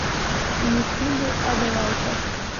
ютуб адвайта